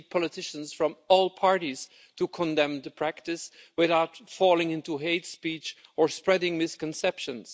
We need politicians from all parties to condemn the practice, without falling into hate speech or spreading misconceptions.